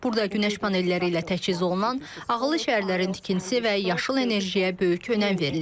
Burada günəş panelləri ilə təchiz olunan ağıllı şəhərlərin tikintisi və yaşıl enerjiyə böyük önəm verilir.